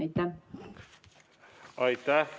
Aitäh!